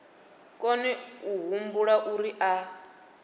kone a humbula uri a